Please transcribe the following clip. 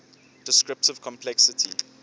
descriptive complexity